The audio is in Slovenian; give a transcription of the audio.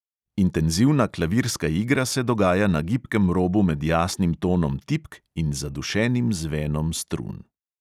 Intenzivna klavirska igra se dogaja na gibkem robu med jasnim tonom tipk in zadušenim zvenom strun.